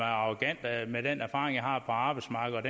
arrogant med den erfaring jeg har på arbejdsmarkedet